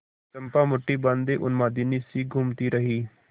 चंपा मुठ्ठी बाँधे उन्मादिनीसी घूमती रही